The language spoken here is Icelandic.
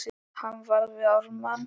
Hann var við Ármann.